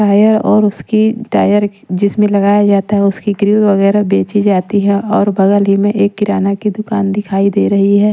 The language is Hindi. टायर और उसकी टायर जिसमें लगाया जाता है उसकी ग्रिल वगैरह बेची जाती है और बगल ही में एक किराना की दुकान दिखाई दे रही है।